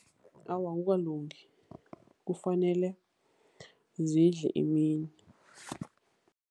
Awa, akukalungi. Kufanele zidle emini.